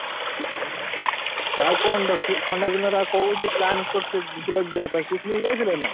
ଆଉ କଣ ଥଣ୍ଡା ଦିନରେ ଆଉ କୋଉଠି plan କରିଚ ଯିବା ପାଇଁ picnic ଯାଇଥିଲ ନା?